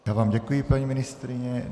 Já vám děkuji, paní ministryně.